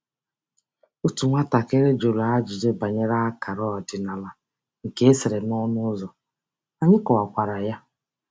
Otu nwatakịrị jụrụ ajụjụ banyere akara ọdịnala nke e sere n'ọnụ ụzọ, anyị kọwakwara ya.